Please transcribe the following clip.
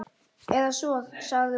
Eða svo sagði hún.